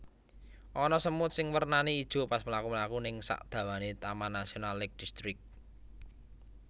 Ana semut sing wernane ijo pas mlaku mlaku ning sak dawane Taman Nasional Lake District